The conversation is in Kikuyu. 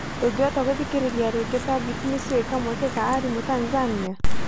Ndũngĩbota kũthikirĩria rĩngi Tabit nocioe kamweke ka arimũ Tanzania?